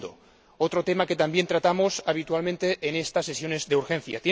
El segundo, otro tema que también tratamos habitualmente en estas sesiones de urgencia.